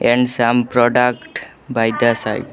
And some product by the side.